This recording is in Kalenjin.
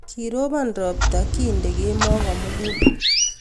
Kirobon ropta kintee kemoi komugul.